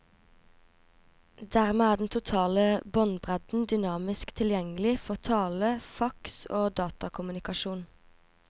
Dermed er den totale båndbredden dynamisk tilgjengelig for tale, fax og datakommunikasjon.